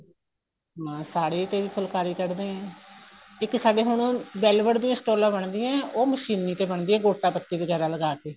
ਹਾਂ ਸਾੜੀਆਂ ਚੋਂ ਵੀ ਫੁਲਕਾਰੀ ਕੱਢਦੇ ਆ ਇੱਕ ਸਾਡੇ ਹੁਣ velvet ਦੀਆਂ ਸਟੋਲਾਂ ਬਣਦੀਆਂ ਉਹ ਮਸ਼ੀਨੀ ਤੇ ਬਣਦੀਆਂ ਏ ਗੋਟਾ ਪੱਤੀ ਵਗੈਰਾ ਲਗਾਕੇ